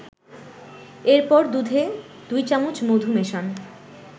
এরপর দুধে ২ চামচ মধু মেশান